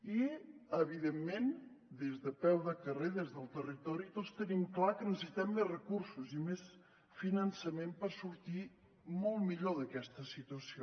i evidentment des de peu de carrer des del territori tots tenim clar que necessitem més recursos i més finançament per sortir molt millor d’aquesta situació